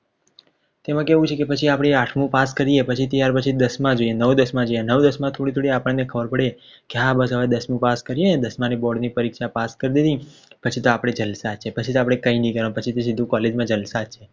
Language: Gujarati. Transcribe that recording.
તેમાં કેવું છે કે પછી આપણે આઠ પાસ કરીએ પછી ત્યાર પછી દસ માં જઈએ નવ દસના જઈએ નવ દસ માં આપણે થોડી થોડી ખબર પડે કે હા બસ હવે દસમું પાસ કરિએ દસમાં board ની પરીક્ષા પાસ કરી દીધી પછી તો આપણે જલસા છે પછી તો આપણે કઈ નઈ કરવાનું પછી તો સીધું College માં જલશા છે.